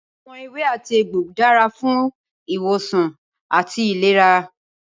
Awòn éwé àtí égbó dàrá fún iwósán àtí ilérá